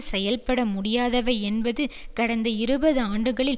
செயல்பட முடியாதவை என்பது கடந்த இருபது ஆண்டுகளில்